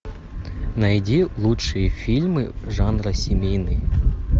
найди лучшие фильмы жанра семейный